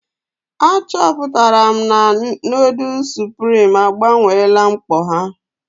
Achọpụtara m na nudu suprim agbanweela mkpọ ha.